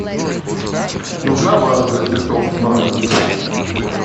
нужна ваза для цветов в номер